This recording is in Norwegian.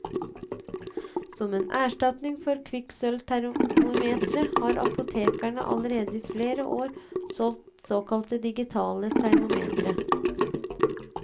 Som erstatning for kvikksølvtermometre har apotekene allerede i flere år solgt såkalte digitale termometre.